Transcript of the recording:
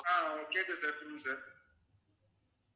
ஆஹ் கேட்குது sir சொல்லுங்க sir